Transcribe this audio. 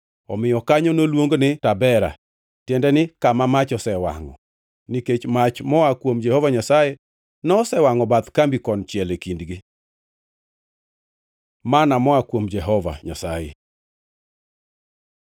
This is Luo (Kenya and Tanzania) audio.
Omiyo kanyo noluong ni Tabera (tiende ni Kama Mach osewangʼo) nikech mach moa kuom Jehova Nyasaye nosewangʼo bath kambi konchiel e kindgi. Manna moa kuom Jehova Nyasaye